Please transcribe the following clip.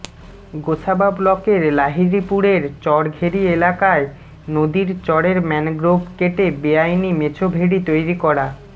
গোসাবা ব্লকের লাহিড়িপুরের চরঘেরি এলাকায় নদীর চরের ম্যানগ্রোভ কেটে বেআইনি মেছোভেড়ি তৈরি করা